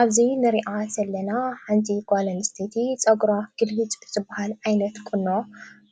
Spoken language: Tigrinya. ኣብዚ ንሪኣ ዘለና ሓንቲ ጓል ኣንስተይቲ ፀጉራ ግልብጭ ብዝባሃል ዓይነት ቁኖ